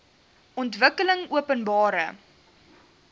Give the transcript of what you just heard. ontwikkelingopenbare